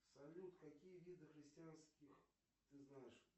салют какие виды христианских ты знаешь